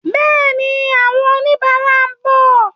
Bẹ́ẹ̀ni, àwọn oníbàárà ń bọ̀.